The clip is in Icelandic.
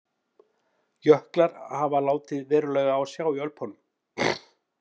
Jöklar hafa látið verulega á sjá í Ölpunum.